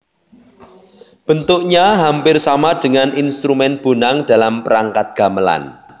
Bentuknya hampir sama dengan instrumen bonang dalam perangkat gamelan